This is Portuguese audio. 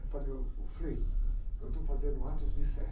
Eu falei, ô, ô, Frei, eu estou fazendo atos de fé.